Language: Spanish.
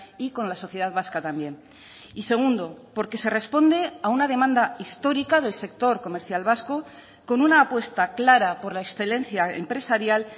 y con la sociedad vasca también y segundo porque se responde a una demanda histórica del sector comercial vasco con una apuesta clara por la excelencia empresarial